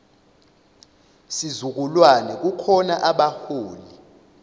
sizukulwane kukhona abaholi